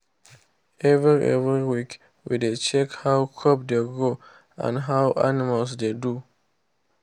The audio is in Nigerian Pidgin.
every every week we dey check how crop dey grow and how animals dey do.